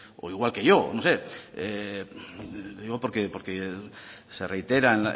o igual que yo no sé le digo porque se reitera